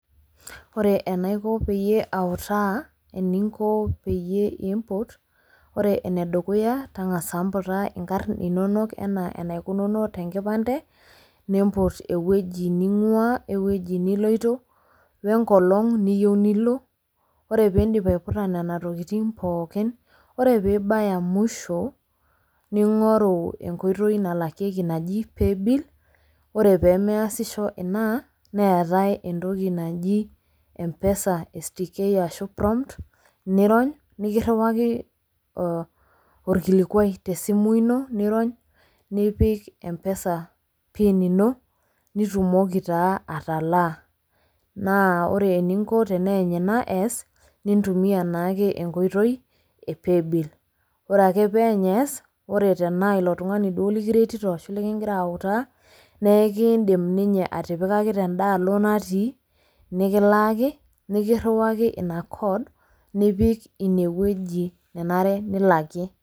Ore enaiko peyie autaa eninko peyie imput ore ene dukuya tang'asa mputa nkarn inonok enaa enaikununo te nkipande, nimput ewueji ning'ua, we wueji niloito, we nkolong' niyeu nilo, ore piindip aiputa nena tokitin pookin, ore piibaya musho ning'oru enkoitoi nalakieki naji paybill, ore pee measisho ina neetai entoki naji Mpesa STK ashu prompt nirony nekiriwaki orkilikuai te simu ino niirony, nipik Mpesa pin ino nitumoki taa atalaa. Naa ore eninko teneeny ina ees, nintumia naake enkoitoi e pay bill ore ake pee eeny ees, ore tenaa ilo tung'ani duo lekiretito ashu lenkigira autaa nekiindim ninye atipikaki tenda alo natii nekilaaki nekiriwaki ina code, nipik ine wueji nenare nilakie.